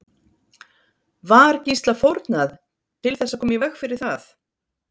Var Gísla fórnað til þess að koma í veg fyrir það?